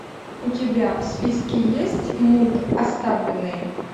у тебя в списке есть мульт оставленные